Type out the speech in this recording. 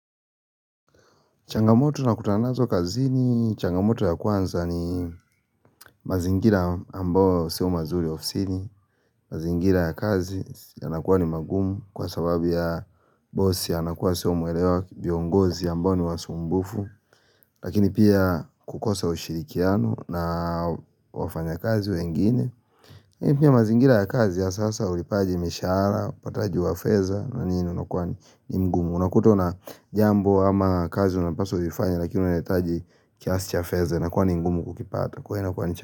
Changamoto na kutana nazo kazini, changamoto ya kwanza ni mazingira ambao sio mazuri ofsini, mazingira ya kazi ya nakuwa ni magumu kwa sababi ya boss anakuwa sio mwelewa viongozi ambao ni wasumbufu, lakini pia kukosa ushirikiano na wafanya kazi wengine. Hio pia mazingira ya kazi ya sasa ulipaji mishara, upataji wafeza na nini unakwani ni mgumu Unakuta una jambo ama kazi unapaswa uzifanye lakini unaitaji kiasi chafeza inakuwa ni ngumu kukipata.